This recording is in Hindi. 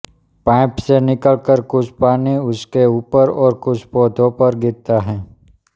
पाइप से निकलकर कुछ पानी उसके ऊपर और कुछ पौधों पर गिरता है